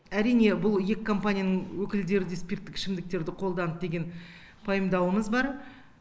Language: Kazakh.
әрине бұл екі компанияның өкілдері де спирттік ішімдіктерді қолданды деген пайымдауымыз бар